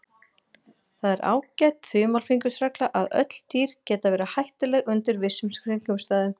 Það er ágæt þumalfingursregla að öll dýr geta verið hættuleg undir vissum kringumstæðum.